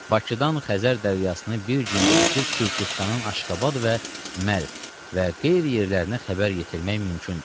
Bakıdan Xəzər dənizini bir gündə ötüb Türküstanın Aşqabad və Mərv və qeyri yerlərinə xəbər yetirmək mümkündür.